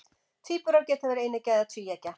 Tvíburar geta verið eineggja eða tvíeggja.